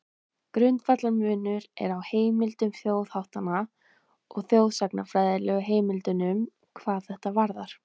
Grundvallarmunur er á heimildum þjóðháttanna og þjóðsagnafræðilegu heimildunum hvað þetta varðar.